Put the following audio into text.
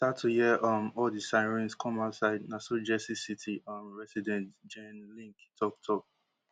then i start to hear um all di sirens come outside na so jersey city um resident jenn lynk tok tok